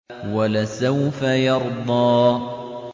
وَلَسَوْفَ يَرْضَىٰ